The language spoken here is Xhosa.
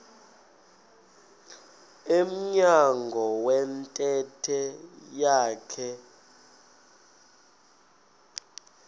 emnyango wentente yakhe